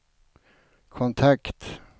kontakt